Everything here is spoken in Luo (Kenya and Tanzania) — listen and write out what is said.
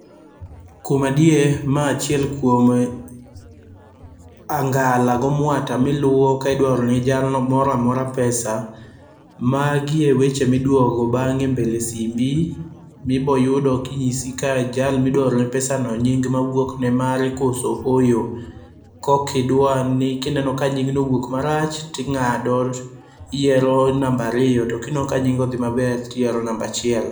Kuom adier mae achiel kuom anga'la gi omuata ma iluwo ka idwaorone jalo moro amoro pesa, magie weche mi idwogo bange' e mbele simbi ibiro yudo kinyisi ka jalne midwa orone pesano nying' mawuok no mare koso ohoyo, kokidwa ni ka ineno ka nying'no owuok marach tinga'do to ihiyiero number ariyo to ka ineno ka nying'no othi maber to iyiero number achiel